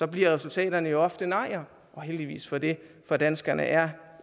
bliver resultatet jo ofte nej og heldigvis for det for danskerne er